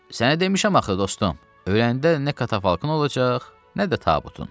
Sənə demişəm axı dostum, öləndə nə katafalkın olacaq, nə də tabutun.